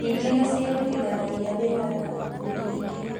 Ningĩ nĩ ciĩrutithanagia wĩra na ikundi ingĩ